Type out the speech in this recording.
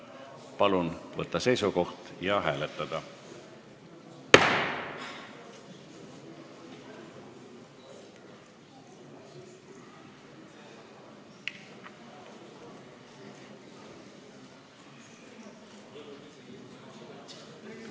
Palun võtta seisukoht ja hääletada!